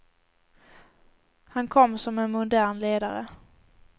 Han kom som en modern ledare.